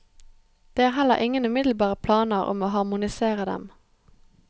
Det er heller ingen umiddelbare planer om å harmonisere dem.